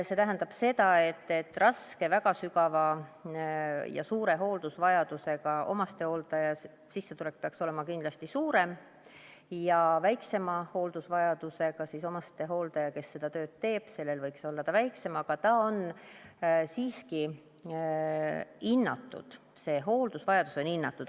See tähendab seda, et raske, väga sügava ja suure hooldusvajadusega omastehooldaja sissetulek peaks olema kindlasti suurem ja väiksema hooldusvajadusega omastehooldajal, kes seda tööd teeb, võiks olla väiksem, aga see hooldusvajadus on siiski hinnatud.